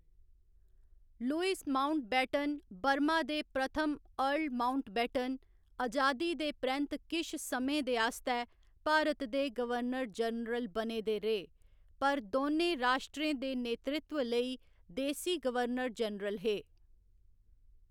Lewis Mountbatten, Burma दे प्रथम earl Mountbatten, अजादी दे परैंत्त किश समें दे आस्तै भारत दे गवर्नर जनरल बने दे रेह्, पर दोनें राश्ट्रें दे नेतृत्व लेई देसी गवर्नर जनरल हे।